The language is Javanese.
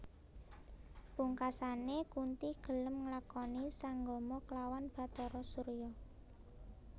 Pungkasane Kunthi gelem nglakoni sanggama klawan Bathara Surya